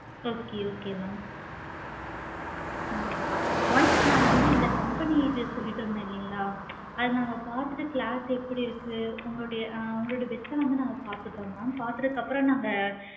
okay okay mam once நாங்க வந்து இங்க company இது சொல்லிட்டு இருக்குமேல அது வந்து நாங்க பார்த்துட்டு எப்படி இருக்கு உங்களுடைய a வந்து நாங்க பார்த்துட்டு இருந்தோ mam பார்த்ததுக்கு அப்பறம் நாங்க